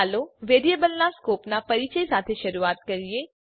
ચાલો વેરીએબલનાં સ્કોપનાં પરીચય સાથે શરૂઆત કરીએ